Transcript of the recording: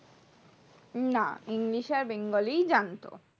না english আর bengali জানতো